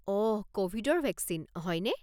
অহ, ক'ভিডৰ ভেকচিন, হয়নে?